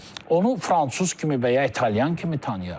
Onu fransız kimi və ya italyan kimi tanıyaq.